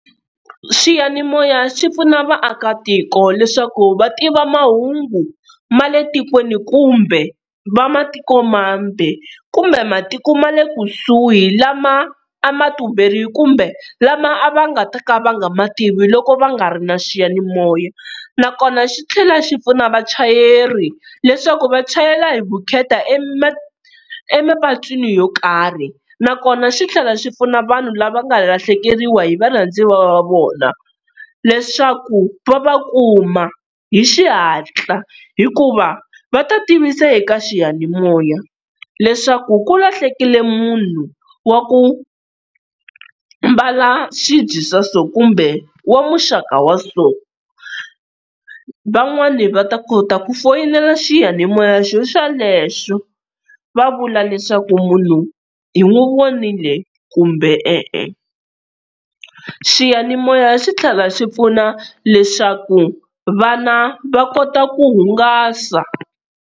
Swiyanimoya swi pfuna vaakatiko leswaku va tiva mahungu ma le tikweni kumbe ma matikomambe kumbe matiko ma le kusuhi lama a ma tumberile, kumbe lama a va nga ta ka va nga ma tivi loko va nga ri na xiyanimoya. Na kona xi tlhela xi pfuna vachayeri leswaku va chayela hi vukheta emapatwini yo karhi, na kona xi tlhela xi pfuna vanhu lava nga lahlekeriwa hi varhandziwa va vona, leswaku va va kuma hi xihatla hikuva va ta tivisa eka xiyanimoya leswaku ku lahlekile munhu wa ku mbala swibye swa so kumbe wa muxaka wa so, van'wana va ta kota ku foyinela xiyanimoya xo xa lexo va vula leswaku munhu hi n'wi vonile, kumbe e-e. Xiyanimoya xi tlhela xi pfuna leswaku vana va kota ku hungasa.